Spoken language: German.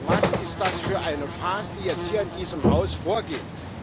Aber was ist das für eine Farce, die jetzt hier in diesem Haus vorgeht!